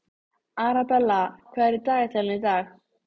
Arabella, hvað er í dagatalinu í dag?